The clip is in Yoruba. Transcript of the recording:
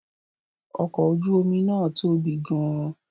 Ọkọ̀ ojú omi náà tóbi gan-an